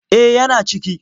Eh yana ciki.